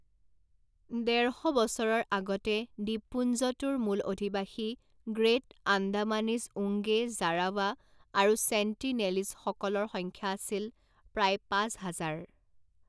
ডেৰ শ বছৰৰ আগতে দ্বীপপুঞ্জটোৰ মূল অধিবাসী গ্ৰেট আন্দামানিজ ওঙ্গে জাৰাৱা আৰু ছেণ্টিনেলীজসকলৰ সংখ্যা আছিল প্ৰায় পাঁচ হাজাৰ।